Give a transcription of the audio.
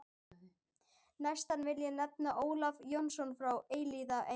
Næstan vil ég nefna Ólaf Jónsson frá Elliðaey.